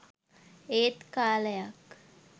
ඒත් කාලයක්